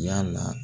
Yala